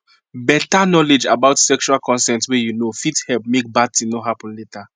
better knowledge about sexual consent way you know fit help make bad thing no happen later